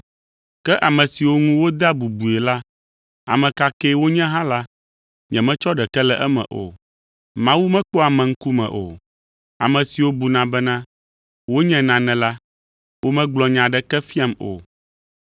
Ke ame siwo ŋu wodea bubui la, ame ka ke wonye hã la, nyemetsɔ ɖeke le eme o; Mawu mekpɔa ame ŋkume o, ame siwo buna bena wonye nane la, womegblɔ nya aɖeke fiam o.